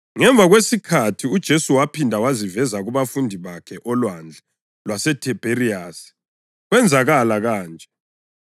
Ngemva kwesikhathi uJesu waphinda waziveza kubafundi bakhe oLwandle lwaseThibheriyasi. Kwenzakala kanje: